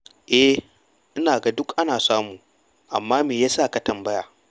E, ina ganin duk ana samu, amma me ya sa ka tambaya?